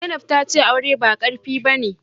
Zainab tace aure ba qarfi bane